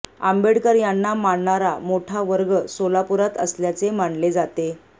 आंबेडकर यांना मानणारा मोठा वर्ग सोलापुरात असल्याचे मानले जाते